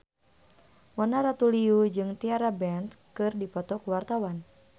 Mona Ratuliu jeung Tyra Banks keur dipoto ku wartawan